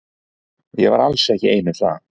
Ég var alls ekki ein um það.